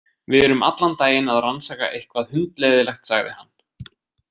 Við erum allan daginn að rannsaka eitthvað hundleiðinlegt, sagði hann.